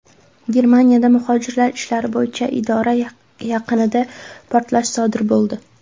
Germaniyada muhojirlar ishlari bo‘yicha idora yaqinida portlash sodir bo‘ldi.